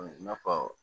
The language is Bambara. I n'a fɔ